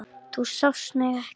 Þú sást mig ekki.